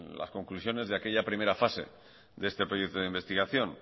las conclusiones de aquella primera fase de este proyecto de investigación